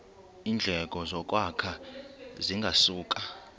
iindleko zokwakha zingasuka